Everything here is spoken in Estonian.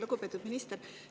Lugupeetud minister!